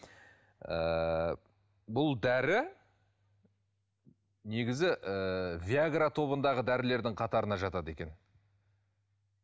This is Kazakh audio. ыыы бұл дәрі негізі ыыы виагра тобындағы дәрілердің қатарына жатады екен